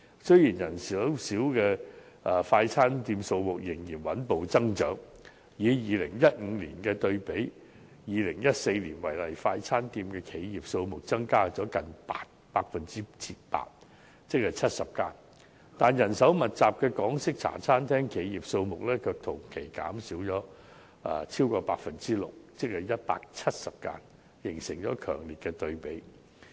雖然人手較少的快餐店數目仍然穩步增長，以2015年對比2014年為例，快餐店企業數目增加了近 8%， 即約70間，但人手密集的港式茶餐廳企業數目同期卻減少了超過 6%， 即約170間，形成了強烈對比。